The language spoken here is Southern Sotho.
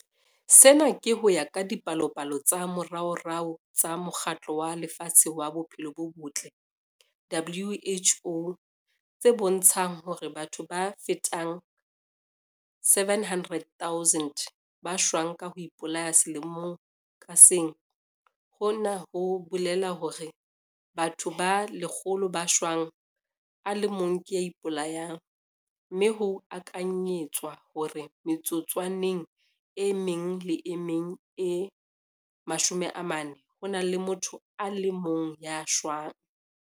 Sena ke ho ya ka dipalopalo tsa moraorao tsa Mokgatlo wa Lefatshe wa Bophelo bo Botle, WHO, tse bontshang hore batho ba fetang 700 000 ba shwa ka ho ipolaya selemo ka seng - hona ho bolela hore bathong ba 100 ba shwang a le mong ke ya ipolayang, mme ho akanyetswa hore metsotswaneng e meng le e meng e 40 ho na le motho a le mong ya shwang.